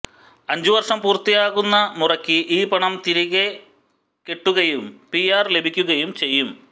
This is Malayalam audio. അഞ്ചുവര്ഷം പൂര്ത്തിയാകുന്ന മുറയ്ക്ക് ഈ പണം തിരികെക്കിട്ടുകയും പിആര് ലഭിക്കുകയും ചെയ്യും